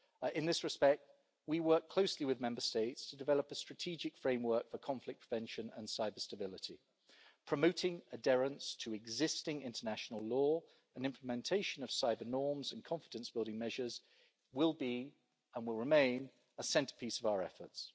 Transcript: In this respect, we work closely with Member States to develop a strategic framework for conflict prevention and cyber-stability, promoting adherence to existing international law and implementation of cyber-norms and confidence-building measures are, and will remain, a centrepiece of our efforts.